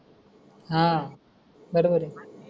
हा बरोबर आय.